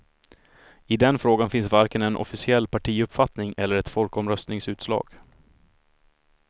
I den frågan finns varken en officiell partiuppfattning eller ett folkomröstningsutslag.